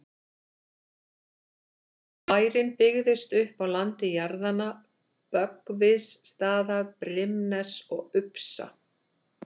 Bærinn byggðist upp á landi jarðanna Böggvisstaða, Brimness og Upsa.